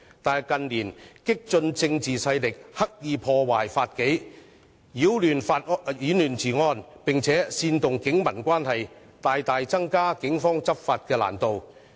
可是，近年激進政治勢力刻意破壞法紀，擾亂治安，並煽動警民關係，大大增加警方執法的難度。